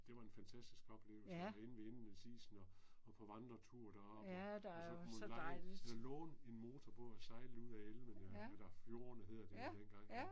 Det var en fantastisk oplevelse og være inde ved indlandsisen og og på vandretur deroppe og så kunne man leje eller låne en motorbåd og sejle ud af elvene eller fjordene hedder det jo den gang ja